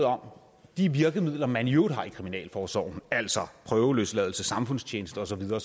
om de virkemidler man i øvrigt har i kriminalforsorgen altså prøveløsladelse samfundstjeneste og så videre